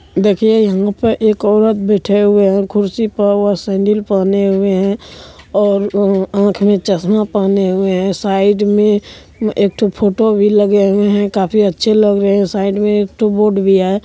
देखिए यहां पे एक औरत बैठे हुए हैं कुर्सी पर। वह सैंडल पहने हुए हैं और अम्म्म आंख में चश्मा पहने हुए है। साइड में एक ठो फोटो भी लगे हुए हैं। काफी अच्छे लग रहे हैं। साइड में एक ठो बोर्ड भी है।